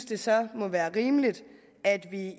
det så må være rimeligt at vi